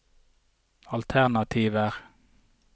alternativer